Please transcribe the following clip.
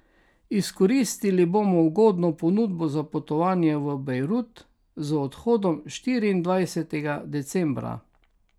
Izkoristili bomo ugodno ponudbo za potovanje v Bejrut, z odhodom štiriindvajsetega decembra.